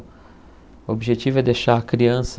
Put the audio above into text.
O objetivo é deixar a criança